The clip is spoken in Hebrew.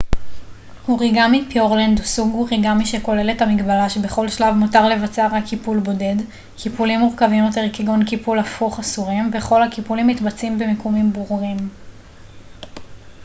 אוריגמי פיורלנד הוא סוג אוריגמי שכולל את המגבלה שבכל שלב מותר לבצע רק קיפול בודד קיפולים מורכבים יותר כגון קיפול הפוך אסורים וכל הקיפולים מתבצעים במיקומים ברורים